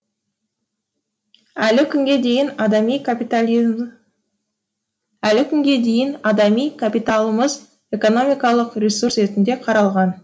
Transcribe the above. әлі күнге дейін адами капиталымыз экономикалық ресурс ретінде қаралған